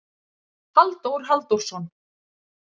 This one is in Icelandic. Halldór Halldórsson.